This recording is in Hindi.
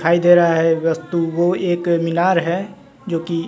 दिखाई दे रहा है वस्तु वो एक मीनार है जो की--